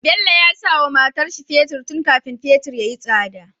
Bello yasa wa matarshi fetir tun kafani fetir yayi tsada